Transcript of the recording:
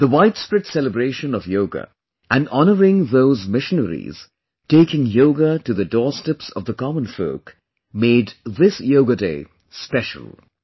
The widespread celebration of Yoga and honouring those missionaries taking Yoga to the doorsteps of the common folk made this Yoga day special